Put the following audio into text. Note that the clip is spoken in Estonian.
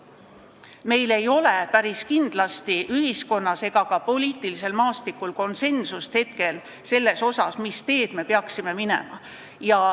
Meil ei ole päris kindlasti ühiskonnas ega ka poliitilisel maastikul konsensust selles, mis teed me peaksime minema.